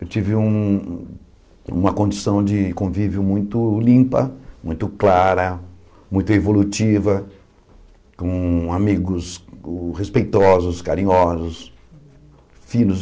Eu tive um uma condição de convívio muito limpa, muito clara, muito evolutiva, com amigos respeitosos, carinhosos, finos.